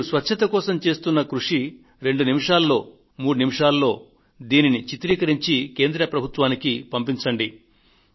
మీరు స్వచ్ఛత కోసం చేస్తున్న కృషి రెండు నిమిషాలో మూడు నిమిషాలో దానిని చిత్రీకరించి కేంద్ర ప్రభుత్వానికి పంపించండి